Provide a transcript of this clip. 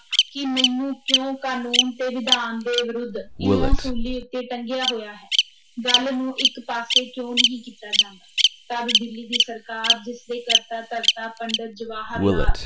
ਕਿ ਮੈਨੂੰ ਕਿਉਂ ਕਾਨੂੰਨ ਤੇ ਵਿਧਾਨ ਦੇ ਵਿਰੁੱਧ, ਇਉਂ ਸੂਲੀ ਉਤੇ ਟੰਗਿਆ ਹੋਇਆ ਹੈ ਗੱਲ ਨੂੰ ਇਕ ਪਾਸੇ ਕਿਉਂ ਨਹੀਂ ਕੀਤਾ ਜਾਂਦਾ, ਤਦ ਦਿੱਲੀ ਦੀ ਸਰਕਾਰ, ਜਿਸ ਦੇ ਕਰਤਾ ਧਰਤਾ ਪੰਡਿਤ ਜਵਾਹਰ ਲਾਲ